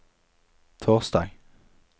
torsdag